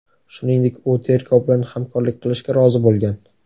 Shuningdek, u tergov bilan hamkorlik qilishga rozi bo‘lgan.